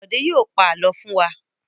Bọ̀dé yóò pa àlọ́ fún wa!